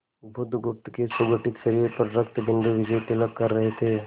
बुधगुप्त के सुगठित शरीर पर रक्तबिंदु विजयतिलक कर रहे थे